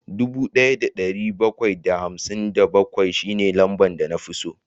Dubu daya da dari bakwai da hamsin da bakwai shine lambar da na fi so